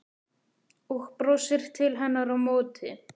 Og brosir til hennar á móti.